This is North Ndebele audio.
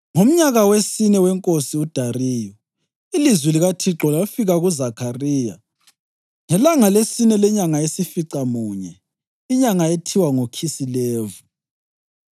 Ngomnyaka wesine wenkosi uDariyu, ilizwi likaThixo lafika kuZakhariya ngelanga lesine lenyanga yesificamunye, inyanga ethiwa nguKhisilevu.